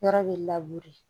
Yɔrɔ bɛ de